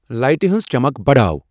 لایٹِہ ہٕنٛز چمک بڑاو ۔